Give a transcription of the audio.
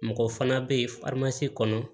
Mɔgɔ fana bɛ yen kɔnɔ